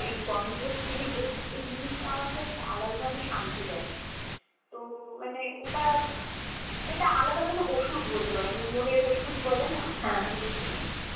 সেই গন্ধর জন্যই ওই ওই জিনিষটা আমাকে একটা ধরনের শান্তি দেয়. তো মানে ওটার একটা আলাদা ধরনের ঔষধ বলতে পারো. মনের ঔষধ বলেনা, ঐটাই.